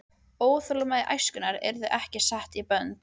Óþolinmæði æskunnar yrði ekki sett í bönd.